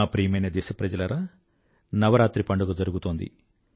నా ప్రియమైన దేశప్రజలారా నవరాత్రి పండుగ జరుగుతోంది